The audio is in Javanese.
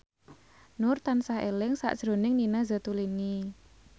Nur tansah eling sakjroning Nina Zatulini